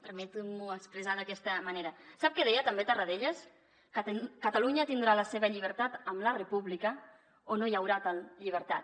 permetin m’ho expressar d’aquesta manera sap que deia també tarradellas catalunya tindrà la seva llibertat amb la república o no hi haurà tal llibertat